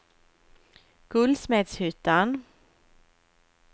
Guldsmedshyttan